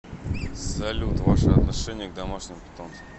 салют ваше отношение к домашним питомцам